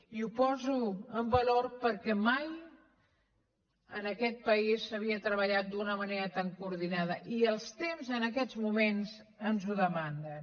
i ho poso en valor perquè mai en aquest país s’havia treballat d’una manera tan coordinada i els temps en aquests moments ens ho demanen